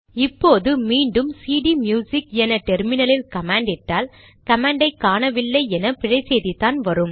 இப்போது மீண்டும் சிடிம்யுசிக் என டெர்மினலில் கமாண்ட் இட்டால் கமாண்டை காணவில்லை என்று பிழை செய்திதான் வரும்